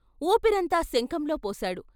వూపిరంతా శంఖంలో పోశాడు.